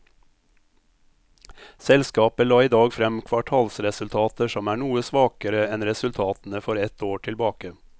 Selskapet la i dag frem kvartalsresultater som er noe svakere enn resultatene for ett år tilbake.